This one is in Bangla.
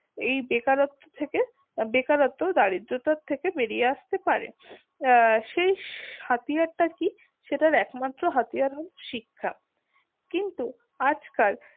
এই বেকারত্ব থেকে বেকারত্ব ও দারিদ্রতা থেকে বেরিয়ে আসতে পারে সেই হাতিয়ার টা কি? সেটার একমাত্র হাতিয়ার হলো শিক্ষা কিন্তু আজ কাল